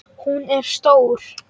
Hún er stór.